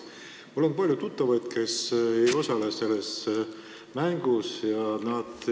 Mul on palju tuttavaid, kes ei osale selles mängus.